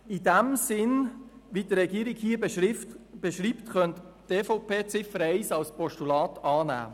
Einzig in dem Sinn, wie es die Regierung hier beschreibt, könnte die EVP die Ziffer 1 als Postulat annehmen.